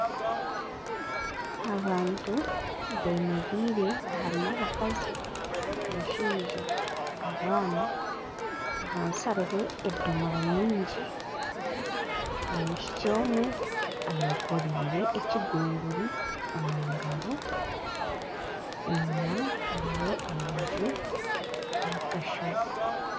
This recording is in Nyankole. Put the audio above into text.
Abantu beemereire harimu abakazi omushaija abaana, ahansi hariho edomora nyingi, omwishiki omwe ayekoreire ekigunguri omu ngaro, enyima hariyo amaju na akashozi